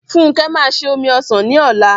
Funke máa se omi ọsàn ní ọ̀la m